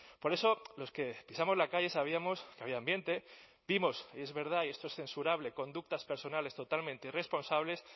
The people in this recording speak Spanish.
por eso los que pisamos la calle sabíamos que había ambiente vimos y es verdad y esto es censurable conductas personales totalmente irresponsables